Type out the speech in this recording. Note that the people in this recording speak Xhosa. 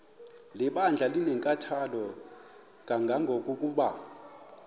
lebandla linenkathalo kangangokuba